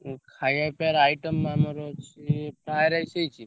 ଉଁ ଖାୟା ପିୟାର item ଆମର ଅଛି fry, rice ହେଇଚି।